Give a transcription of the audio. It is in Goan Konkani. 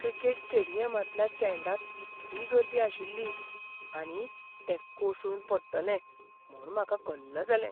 क्रिकेट स्टेडियमांतल्या स्टँडांत इतली गर्दी आशिल्ली आनी तें कोसळून पडटलें म्हूण म्हाका कल्ल जालें.